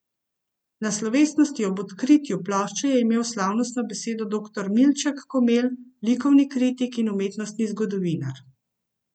Na slovesnosti ob odkritju plošče je imel slavnostno besedo doktor Milček Komelj, likovni kritik in umetnostni zgodovinar.